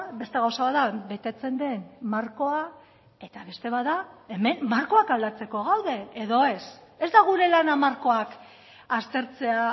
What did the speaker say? beste gauza bat da betetzen den markoa eta beste bat da hemen markoak aldatzeko gaude edo ez ez da gure lana markoak aztertzea